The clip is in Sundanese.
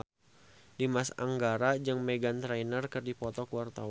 Dimas Anggara jeung Meghan Trainor keur dipoto ku wartawan